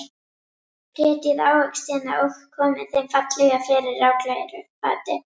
Brytjið ávextina og komið þeim fallega fyrir á glæru fati.